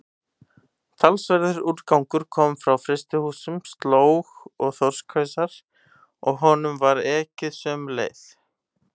Talsverður úrgangur kom frá frystihúsunum, slóg og þorskhausar, og honum var ekið sömu leið.